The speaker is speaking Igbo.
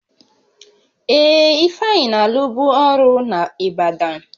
Ee, Ifeanyị na-alụbụ ọrụ n'Ịbadan